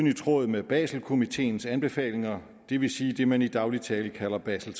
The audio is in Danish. i tråd med baselkomiteens anbefalinger det vil sige det man i daglig tale kalder basel